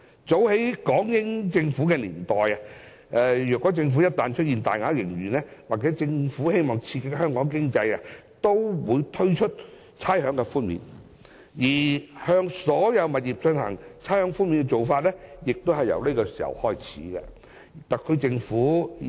早在港英年代開始，政府一旦出現大額盈餘或希望刺激香港經濟時，均會推出差餉寬免；向所有物業作出差餉寬免的做法亦由那個時候開始。